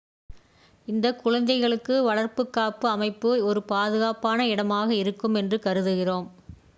இந்தக் குழந்தைகளுக்கு வளர்ப்புக் காப்பு அமைப்பு ஒரு பாதுகாப்பான இடமாக இருக்கும் என்று கருதுகிறோம்